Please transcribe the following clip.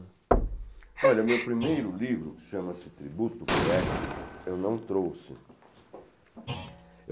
Olha, o meu primeiro livro, que chama-se Tributo Poético, eu não trouxe.